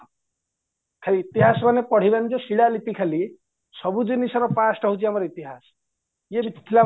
ଖାଲି ଇତିହାସ ମାନେ ପଡ଼ିବନିଯେ ଶିଳାଲିପି ଖାଲି ସବୁଜିଣିଷର past ହଉଚି ଆମର ଇତିହାସ ଇଏବି